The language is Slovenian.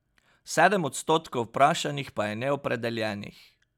Sedem odstotkov vprašanih pa je neopredeljenih.